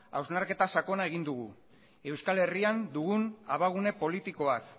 hausnarketa sakona egin dugu euskal herrian dugun abagune politikoaz